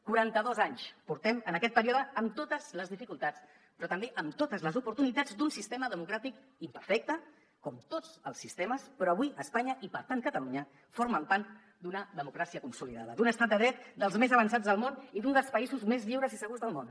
quaranta dos anys portem en aquest període amb totes les dificultats però també amb totes les oportunitats d’un sistema democràtic imperfecte com tots els sistemes però avui espanya i per tant catalunya formen part d’una democràcia consolidada d’un estat de dret dels més avançats del món i d’un dels països més lliures i segurs del món